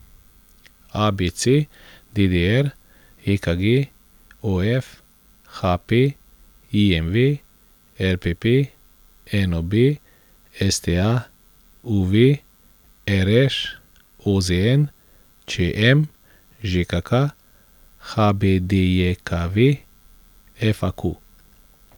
A B C; D D R; E K G; O F; H P; I M V; L P P; N O B; S T A; U V; R Š; O Z N; Č M; Ž K K; H B D J K V; F A Q.